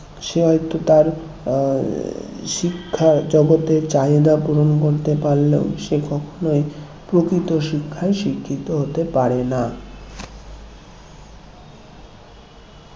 সে হয়তো তার হম শিক্ষার জগতে চাহিদা পূরণ করতে পারলেও সে কখনো প্রকৃত শিক্ষায় শিক্ষিত হতে পারে না